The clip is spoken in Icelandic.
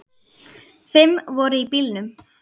Fimm voru í bílnum.